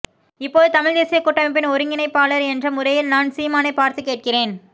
இப்போது தமிழ் தேசிய கூட்டமைப்பின் ஒருங்கிணைப்பாளர் என்ற முறையில் நான் சீமானைப் பார்த்து கேட்கிறேன்